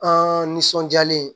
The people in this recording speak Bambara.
An nisɔndiyalen